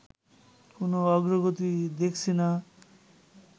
কোনো অগ্রগতি দেখছি না